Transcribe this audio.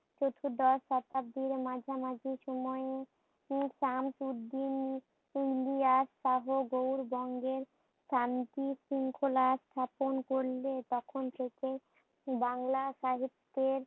চতুর্দশ শতাব্দীর মাঝামাঝি সময়ে উম সামসুদ্দিন ইলিয়াস সহ গৌড় বঙ্গের শান্তি শৃঙ্খলা স্থাপন করলে তখন থেকে বাংলা সাহিত্যের